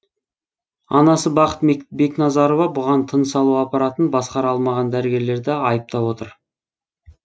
анасы бақыт бекназарова бұған тыныс алу аппаратын басқара алмаған дәрігерлерді айыптап отыр